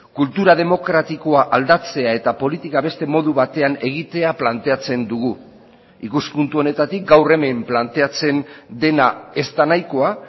kultura demokratikoa aldatzea eta politika beste modu batean egitea planteatzen dugu ikuspuntu honetatik gaur hemen planteatzen dena ez da nahikoa